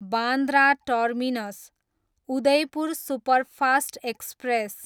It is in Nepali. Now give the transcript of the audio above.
Bandra terminus, Udaipur superfast express